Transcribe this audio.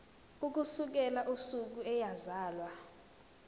ukusukela usuku eyazalwa